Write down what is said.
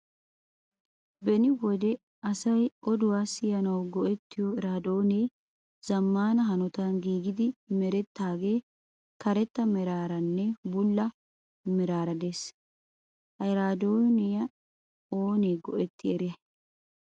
Beni wode asay oduwa siyanawu go''ettiyo iraadoonee zammaana hanotan giigidi merettaage karetta meraaranne bulla meraara des. Ha eraadoya oonee go''ettidi eriyay?